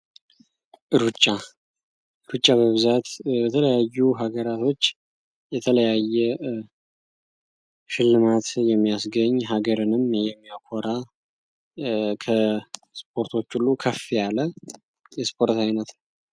ሩጫ፦ ሩጫ በብዛት በተለያዩ ሀገራቶች የተለያየ ሽልማት የሚያስገኝ ሀገርንም የሚያኮራ ከስፖርቶች ሁሉ ከፍ ያለ የስፖርት አይነት ነው።